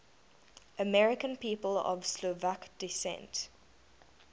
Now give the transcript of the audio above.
american people of slovak descent